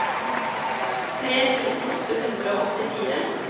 tre tusen åtte hundre og åttifire